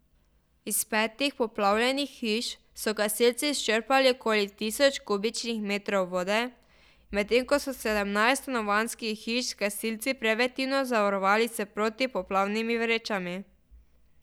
Iz petih poplavljenih hiš so gasilci izčrpali okoli tisoč kubičnih metrov vode, medtem ko so sedemnajst stanovanjskih hiš gasilci preventivno zavarovali s protipoplavnimi vrečami.